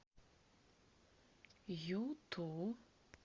юту